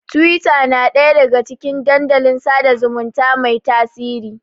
Tiwita na ɗaya daga cikin dandalin sada zumunta mai tasiri.